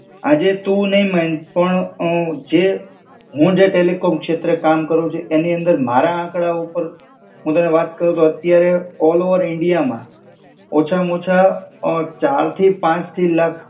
આજે તું નાઈ મૈન, પણ ઔ જે, હું જે ટેલિકોમ શેત્રે કામ કરું છુ એની અંદર મારા આંકડા ઉપર, હું તને વાત કરું તો અત્યારે ઓલ ઓવર ઇન્ડિયામાં, ઓછામાં ઓછા ઑ ચારથી પાંચથી લાખ